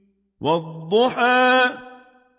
وَالضُّحَىٰ